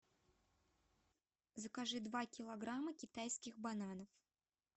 закажи два килограмма китайских бананов